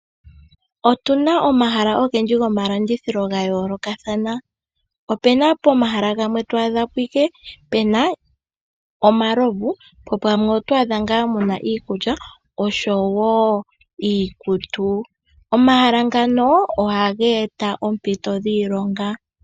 Otuna omahala ogendji gomalandithilo ga yo lokathana. Opena pomahala gamwe to adhapo ike pena omalovu nogamwe oto adha muna iikulya oshowo iikutu. Omahala ngano oha ga eta oompito dhiilonga.